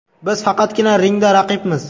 Biz faqatgina ringda raqibmiz.